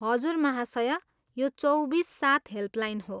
हजुर महाशया, यो चौबिस सात हेल्पलाइन हो।